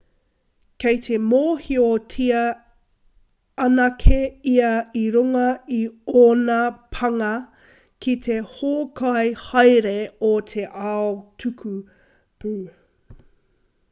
kei te mōhiotia anake ia i runga i ōna pānga ki te hōkai haere o te ao tukupū